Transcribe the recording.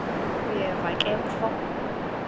uyeva ke mfo